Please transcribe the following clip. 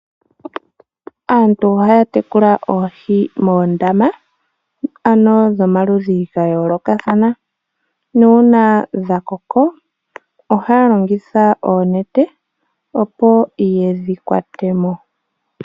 Aantu ohaya tekula oohi moondama, ano dhomaludhi ga yoolokathana. Nuuna dhakoko, ohaya longitha oonete, opo yedhi kwate mo.